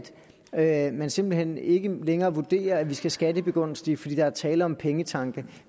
at man simpelt hen ikke længere vurderer at man skal skattebegunstige fordi der er tale om pengetanke